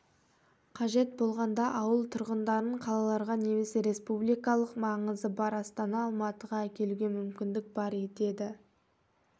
қажет болғанда ауыл тұрғындарын қалаларға немесе рспубликалық маңызы бар астана алматыға әкелуге мүмкіндік бар деді